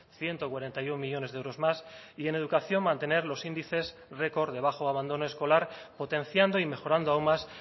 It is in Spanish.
ciento cuarenta y uno millónes de euros más y en educación mantener los índices record de bajo abandono escolar potenciando y mejorando aún más